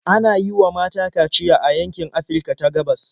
Ana yi wa mata kaciya a yankin Afirka ta gabas.